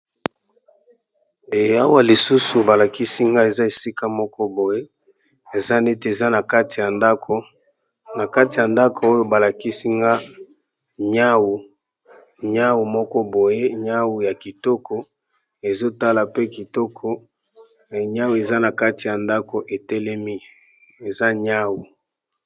Awa lisusu ba lakisi nga eza esika moko boye eza nete eza na kati ya ndaku . Oyo ba lakisi nga niawu moko boye, niawu ya kitoko ezo tala pe kitoko, niawu eza na kati ya ndako e telemi , eza niawu .